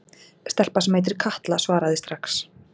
Stelpa sem heitir Katla svaraði strax.